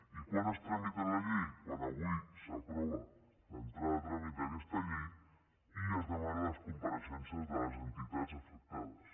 i quan es tramita la llei quan avui s’aprova l’entrada a tràmit d’aquesta llei i es demanen les compareixences de les entitats afectades